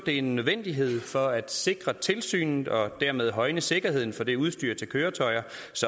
det er en nødvendighed for at sikre tilsynet og dermed højne sikkerheden for det udstyr til køretøjer